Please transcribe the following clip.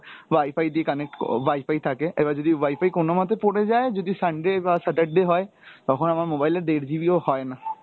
WIFI দিয়ে connect ক WIFI থাকে, এবার যদি WIFI কোনোমতে পড়ে যায়, যদি Sunday বা Saturday হয় তখন আমার mobile এ দেড় GB ও হয় না